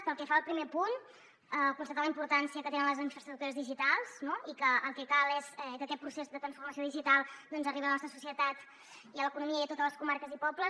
pel que fa al primer punt constatar la importància que tenen les infraestructures digitals no i que el que cal és que aquest procés de transformació digital doncs arribi a la nostra societat i a l’economia i a totes les comarques i pobles